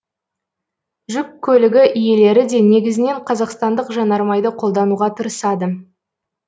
жүк көлігі иелері де негізінен қазақстандық жанармайды қолдануға тырысады